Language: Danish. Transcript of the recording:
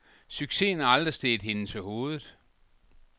Succesen er aldrig steget hende til hovedet.